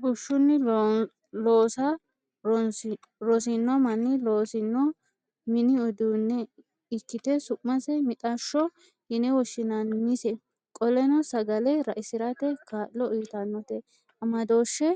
Bushshunni loosa rosino manni loosino mini uduunne ikkite su'mase mixashsho yine woshshinannise. Qoleno sagale raisirate kaa'lo uuyitannote. Amadooshshe